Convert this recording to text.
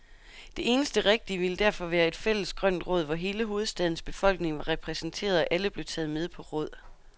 Det eneste rigtige ville derfor være et fælles grønt råd, hvor hele hovedstadens befolkning var repræsenteret, og alle blev taget med på råd.